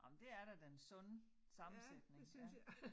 Nåh men det er da den sunde sammensætning ja